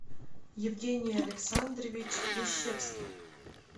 евгений александрович лещевский